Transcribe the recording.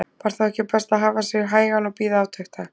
Var þá ekki best að hafa sig hægan og bíða átekta?